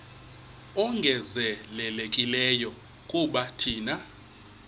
ongezelelekileyo kuba thina